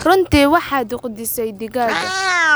Runtii waxaad quudisay digaagga